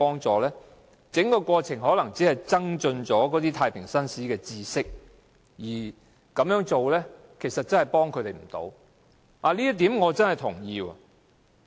整個過程可能只增進太平紳士的知識，但對囚犯卻起不到實際幫助。